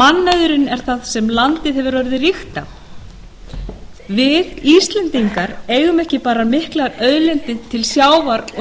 mannauðurinn er það sem landið hefur orðið ríkt á við íslendingar eigum ekki bara miklar auðlindir til sjávar og